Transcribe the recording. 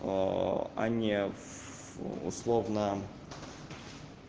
а не в условно